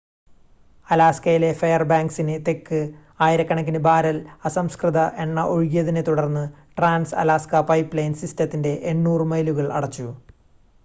അലാസ്കയിലെ ഫെയർബാങ്ക്‌സിന് തെക്ക് ആയിരക്കണക്കിന് ബാരൽ അസംസ്കൃത എണ്ണ ഒഴുകിയതിനെ തുടർന്ന് ട്രാൻസ്-അലാസ്ക പൈപ്പ്‌ലൈൻ സിസ്റ്റത്തിൻ്റെ 800 മൈലുകൾ അടച്ചു